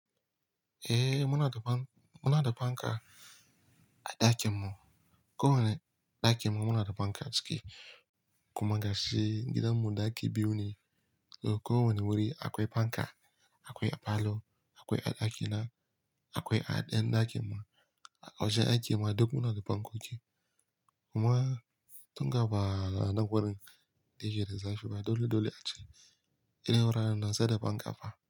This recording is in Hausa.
Eh, muna da fanka a ɗakin mu. Ko wane ɗakin mu muna da fanka ciki. Kuma gashi gidan mu ɗaki biyu ne. Ko wane wuri akwai fanka, akwai a falo, akwai a ɗaki na, akwai a ɗayan ɗakin mu. A ƙarshe ɗakin mu duk muna da fankoki. Kuma tun ga ba na wurin da shi da zafi ba, dole dole a ce irin wuraren nan sai da fanka a fa.